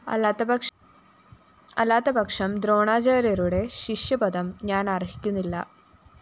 അല്ലാത്തപക്ഷം ദ്രോണാചാര്യരുടെ ശിഷ്യപദം ഞാനര്‍ഹിക്കുന്നില്ല